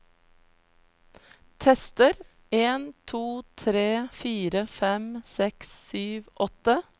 Tester en to tre fire fem seks sju åtte